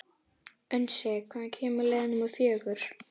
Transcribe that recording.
Unnsi, hvenær kemur leið númer fjögur?